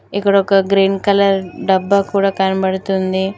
ఇక్కడ ఒక green colour డబ్బా కూడా కనబడుతుంది.